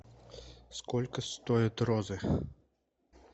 сколько стоят розы